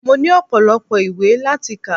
Mo ní ọpọ́lọpọ́ ìwé láti kà.